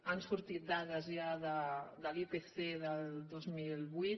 han sortit dades ja de l’ipc del dos mil vuit